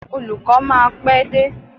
Olùkó máa pé dé.